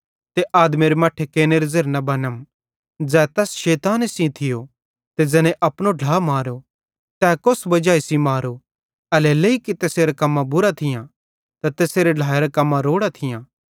ते आदमेरे मट्ठेरे कैनेरे ज़ेरे न बनम ज़ै तैस शैताने सेइं थियो ते ज़ैने अपनो ढ्ला मारो ते तै कोस वजाई सेइं मारो एल्हेरेलेइ कि तैसेरां कम्मां बुरां थियां ते तैसेरे ढ्लाएरां कम्मां रोड़ां थियां